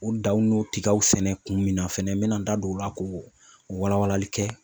O daw n'o tigaw sɛnɛ kun min na fɛnɛ n mɛna n da don o la ko wala walali kɛ